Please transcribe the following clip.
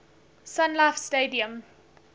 sun life stadium